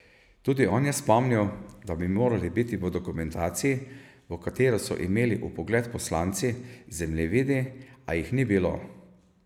Tudi on je spomnil, da bi morali biti v dokumentaciji, v katero so imeli vpogled poslanci, zemljevidi, a jih ni bilo.